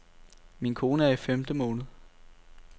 Min kone er i femte måned.